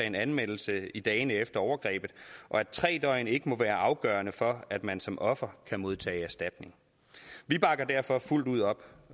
en anmeldelse i dagene efter overgrebet og at tre døgn ikke må være afgørende for at man som offer kan modtage erstatning vi bakker derfor fuldt ud op